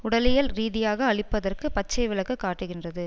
உடலியல் ரீதியாக அழிப்பதற்கு பச்சை விளக்கு காட்டுகின்றது